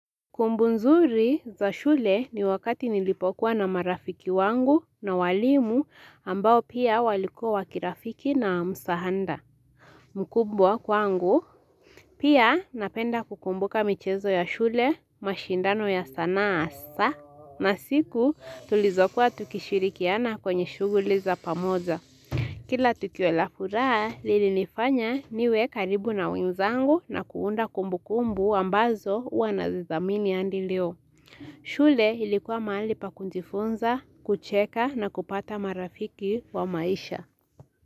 Kumbu nzuri za shule ni wakati nilipokuwa na marafiki wangu na walimu ambao pia walikua wakirafiki na msahada. Mukumbwa kwangu, pia napenda kukumbuka michezo ya shule, mashindano ya sanaa hasa, na siku tulizokuwa tukishirikiana kwenye shuguli za pamoja. Kila tukiwela furaha, lili nifanya niwe karibu na wenzangu na kuunda kumbu kumbu ambazo wanazizamini andi leo. Shule ilikuwa mali pa kujifunza, kucheka na kupata marafiki wa maisha.